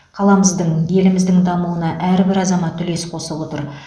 қаламыздың еліміздің дамуына әрбір азамат үлес қосып отыр